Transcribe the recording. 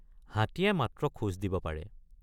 হাতীয়ে মাত্ৰ খোজ দিব পাৰে।